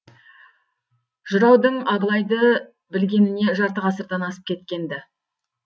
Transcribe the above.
жыраудың абылайды білгеніне жарты ғасырдан асып кеткен ді